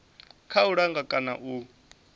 kha u langa kana u